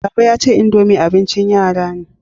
Baba ya ce, indomie abin ci yara ne